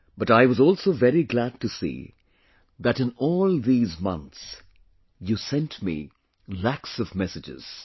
But I was also very glad to see that in all these months, you sent me lakhs of messages